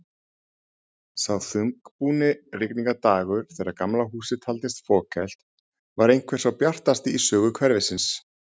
Sá þungbúni rigningardagur þegar Gamla húsið taldist fokhelt, var einhver sá bjartasti í sögu hverfisins.